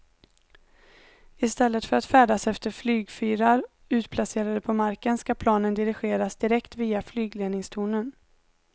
I stället för att färdas efter flygfyrar utplacerade på marken ska planen dirigeras direkt via flygledningstornen.